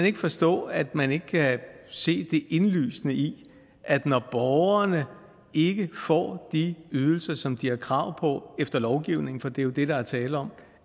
ikke forstå at man ikke kan se det indlysende i at når borgerne ikke får de ydelser som de har krav på efter lovgivningen for det er jo det der er tale om